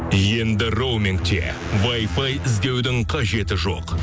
енді роумингте вайфай іздеудің қажеті жоқ